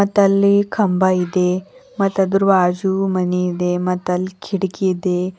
ಮತ್ತಲ್ಲಿ ಕಂಬ ಇದೆ ಮತ್ ಆದ್ರು ಬಾಜು ಮನೆಯಿದೆ ಮತ್ತಲ್ಲಿ ಕಿಟಕಿ ಇದೆ.